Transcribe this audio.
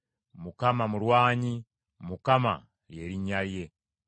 Mukama mulwanyi; Mukama , ly’erinnya lye.